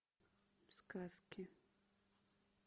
сказки